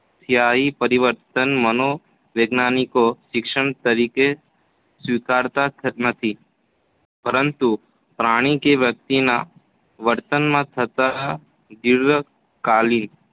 અસ્થાયી પરિવર્તનોને મનોવૈજ્ઞાનિકો શિક્ષણ તરીકે સ્વીકારતા નથી પરંતુ પ્રાણી કે વ્યક્તિના વર્તનમાં થતા દીર્ઘકાલી